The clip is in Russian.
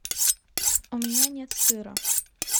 у меня нет сыра